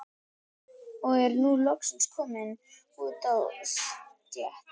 Og er nú loksins kominn út á stétt.